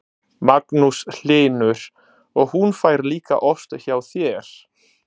Magnús Hlynur: Og hún fær líka ost hjá þér?